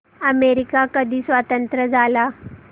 America कधी स्वतंत्र झाला